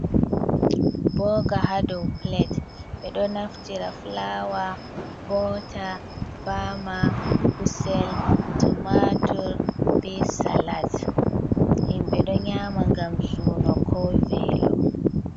Boga ha dow pilat. Ɓeɗo naftira fulawa, bota, bama, kusel, tomatur be salad. Himɓe ɗo nyama ngam suno ko velo.